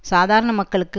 சாதாரண மக்களுக்கு